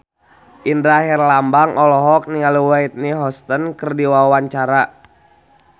Indra Herlambang olohok ningali Whitney Houston keur diwawancara